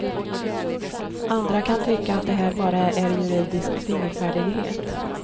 Andra kan tycka att det här bara är juridisk fingerfärdighet.